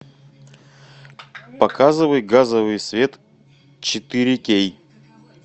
показывай газовый свет четыре кей